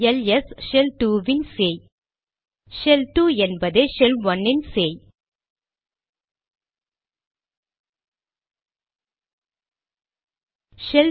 LS shell 2 இன் சேய் shell 2 என்பதே ஷெல்1 இன் சேய்